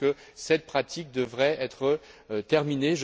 Je pense que cette pratique devrait être terminée.